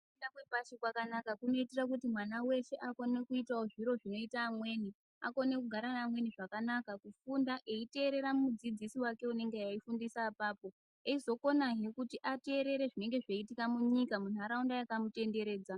Kufunda kwepashi kwakanaka kunoita kuti mwana weshe akone kuita wo zviro zvinoita amweni. Akone kugara neamweni zvakanaka, eifunda eiiteerera mudzidzisi unenge eifundisa apapo. Eizokonazve kuti ateerere zvinenge zveitika munyika munharaunda yakamutenderedza.